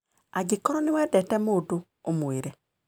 Angĩkorũo nĩ wendete mũndũ, ũmwĩre.